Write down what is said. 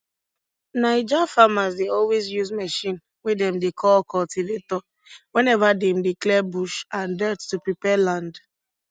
naija farmers dey always use machine wey dem dey call cultivator whenever dem dey clear bush and dirt to prepare land